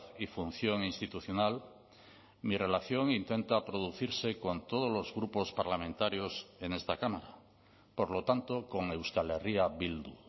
y función institucional mi relación intenta producirse con todos los grupos parlamentarios en esta cámara por lo tanto con euskal herria bildu